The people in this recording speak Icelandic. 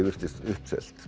virtist uppselt